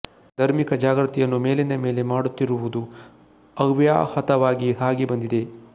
ಧರ್ಮಿಕ ಜಾಗ್ರತಿಯನ್ನು ಮೇಲಿಂದ ಮೇಲೆ ಮಾಡುತ್ತಿರುವದು ಅವ್ಯಾಹತವಾಗಿ ಸಾಗಿ ಬಂದಿದೆ